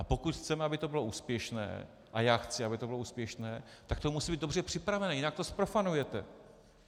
A pokud chceme, aby to bylo úspěšné, a já chci, aby to bylo úspěšné, tak to musí být dobře připravené, jinak to zprofanujete.